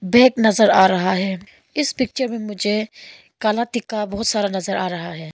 Bag नजर आ रहा है इस पिक्चर में मुझे काला टीका बहोत सारा नजर आ रहा है।